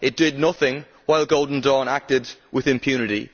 it did nothing while Golden Dawn acted with impunity.